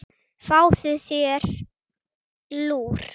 Fáðu þér lúr.